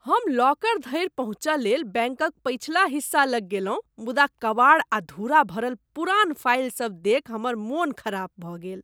हम लॉकर धरि पहुँचय लेल बैंकक पछिला हिस्सा लग गेलहुँ, मुदा कबाड़ आ धूरा भरल पुरान फाइलसभ देखि हमर मन खराप भऽ गेल।